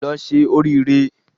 Lọ se orí re